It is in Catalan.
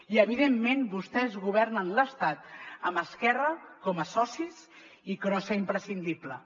i evidentment vostès governen l’estat amb esquerra com a socis i crossa imprescindible